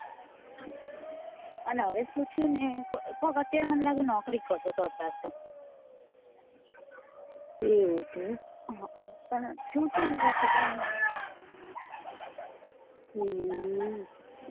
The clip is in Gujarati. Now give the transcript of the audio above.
અને હવે સુ થયું મને લાગે કોક નોકરી કરતો હતો હમ પણ થયું સુ ને એ ખબર નઈ હમ